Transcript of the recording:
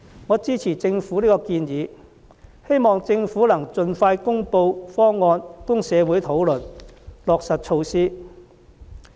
我支持政府這項建議，希望政府能盡快公布方案供社會討論，落實措施。